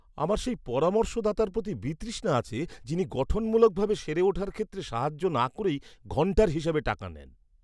আমার সেই পরামর্শদাতার প্রতি বিতৃষ্ণা আছে যিনি গঠনমূলকভাবে সেরে ওঠার ক্ষেত্রে সাহায্য না করেই ঘণ্টার হিসেবে টাকা নেন!